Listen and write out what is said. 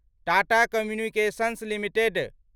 Tata communications limited